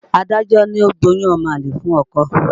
Adájọ́ ní ó gbóyún ọmọ àlè fún ọkọ.